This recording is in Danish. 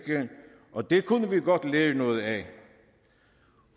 og det kunne vi godt lære noget af